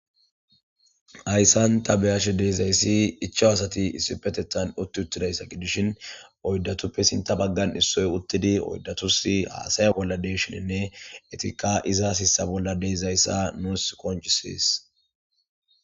Hayssan ta be7ashe de7izayssi ichaw asati issipetethan utti uttidayssa gidshin oyddatuppe sintha baggan issoy uttidi oyddatussi haasaya bolla de7ishininne etikka iza sissa bolla de7izayssa nuus qonccisees.